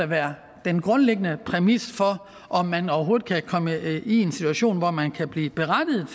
være den grundlæggende præmis for om man overhovedet kan komme i en situation hvor man kan blive berettiget